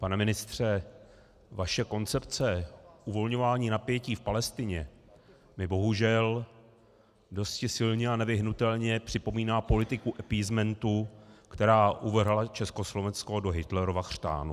Pane ministře, vaše koncepce uvolňování napětí v Palestině mi, bohužel, dosti silně a nevyhnutelně připomíná politiku appeasementu, která uvrhla Československo do Hitlerova chřtánu.